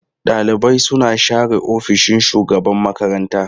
Ɗaliban suna share ofishin shugaban makaranta.